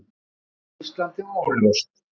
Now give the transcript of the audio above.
Já. hvíslandi og óljóst.